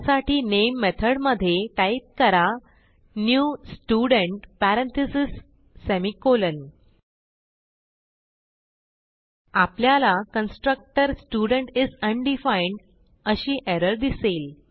त्यासाठी नामे मेथडमधे टाईप करा न्यू स्टुडेंट पॅरेंथीसेस सेमिकोलॉन आपल्याला कन्स्ट्रक्टर स्टुडेंट इस अनडिफाईन्ड अशी एरर दिसेल